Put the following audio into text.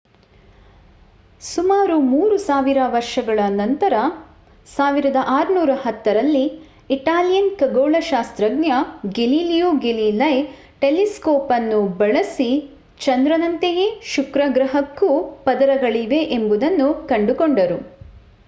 ಸುಮಾರು 3 ಸಾವಿರ ವರ್ಷಗಳ ನಂತರ 1610 ರಲ್ಲಿ ಇಟಾಲಿಯನ್ ಖಗೋಳಶಾಸ್ತ್ರಜ್ಞ ಗೆಲಿಲಿಯೋ ಗೆಲಿಲೈ ಟೆಲಿಸ್ಕೋಪ್ ಅನ್ನು ಬಳಸಿ ಚಂದ್ರನಂತೆಯೇ ಶುಕ್ರ ಗ್ರಹಕ್ಕೂ ಪದರಗಳಿವೆ ಎಂಬುದನ್ನು ಕಂಡುಕೊಂಡರು